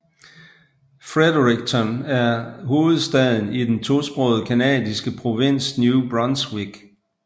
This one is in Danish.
Fredericton er hovedstaden i den tosprogede canadiske provins New Brunswick